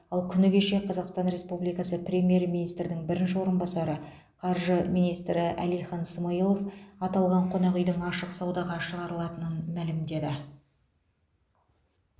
ал күні кеше қазақстан республикасы премьер министрдің бірінші орынбасары қаржы министрі әлихан смайылов аталған қонақ үйдің ашық саудаға шығарылатынын мәлімдеді